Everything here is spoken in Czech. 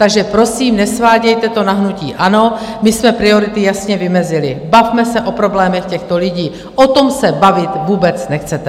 Takže prosím, nesvádějte to na hnutí ANO, my jsme priority jasně vymezili: bavme se o problémech těchto lidí - o tom se bavit vůbec nechcete.